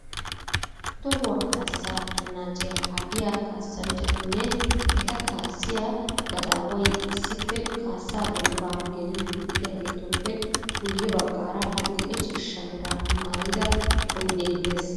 Tohuwa kaassaa anaacciya kaa'iya kaassanchchatinne eta kaassiya gadaaway issippe kaassaa dembbaa geliiddi diyageetuppe guyye baggaara adil'e ciishsha mera maayida oyidee des.